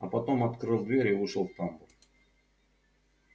а потом открыл дверь и вышел в тамбур